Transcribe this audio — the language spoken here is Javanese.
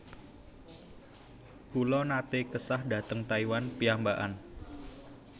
Kula nate kesah dhateng Taiwan piyambakan